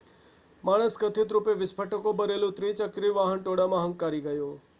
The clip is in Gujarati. માણસ કથિત રૂપે વિસ્ફોટકો ભરેલું ત્રિચક્રી વાહન ટોળામાં હંકારી ગયો